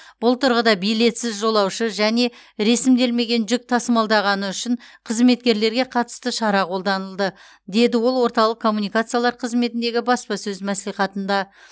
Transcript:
бұл тұрғыда билетсіз жолаушы және ресімделмеген жүк тасымалдағаны үшін қызметкерлерге қатысты шара қолданылды деді ол орталық коммуникациялар қызметіндегі баспасөз мәслихатында